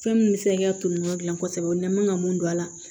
Fɛn min bɛ se ka toli yɔrɔ dilan kosɛbɛ ni mankan ka mun don a la